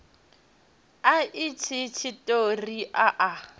a itshi tshiṱori a a